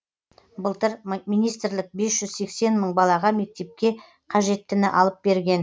былтыр министрлік бес жүз сексен мың балаға мектепке қажеттіні алып берген